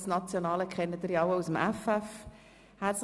das nationale dürften Sie aus dem Effeff kennen.